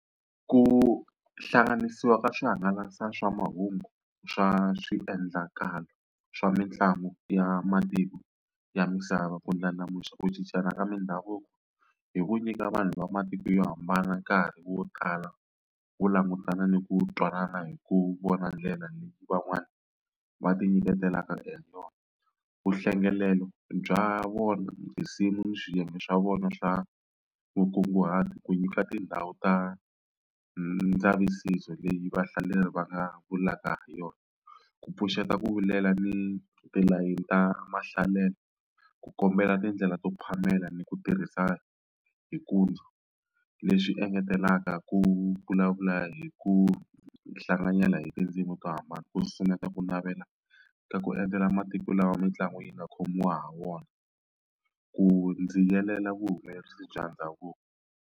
Ku hlanganisiwa ka swihangalasa swa mahungu swa swiendlakalo swa mitlangu ya matiko ya misava ku ndlandlamuxa ku cincana ka mindhavuko hi ku nyika vanhu va matiko yo hambana nkarhi wo tala ku langutana ni ku twanana hi ku vona ndlela leyi van'wani va ti nyiketelaka hi yona vuhlengelelo bya vona ni tinsimu ni swiyenge swa vona swa vukunguhati ku nyika tindhawu ta ndzavisiso leyi vahlaleri va nga vulaka hi yona ku pfuxeta ku vilela ni tilayini ta mahlalelo ku kombela tindlela to phamela ni ku tirhisa leswi engetelaka ku vulavula hi ku hlanganyela hi tindzimi to hambana ku simeka ku navela ka ku endzela matiko lawa mitlangu yi nga khomiwa ha wona ku vuhumelerisi bya ndhavuko.